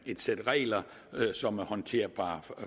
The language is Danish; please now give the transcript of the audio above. et sæt regler som er håndterbare